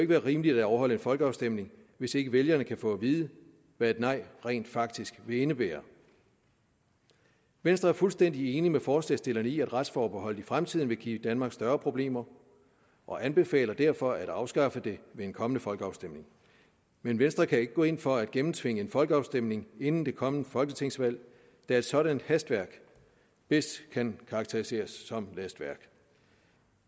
være rimeligt at afholde en folkeafstemning hvis ikke vælgerne kan få at vide hvad et nej rent faktisk vil indebære venstre er fuldstændig enig med forslagsstillerne i at retsforbeholdet i fremtiden vil give danmark større problemer og anbefaler derfor at afskaffe det ved en kommende folkeafstemning men venstre kan ikke gå ind for at gennemtvinge en folkeafstemning inden det kommende folketingsvalg da et sådant hastværk bedst kan karakteriseres som lastværk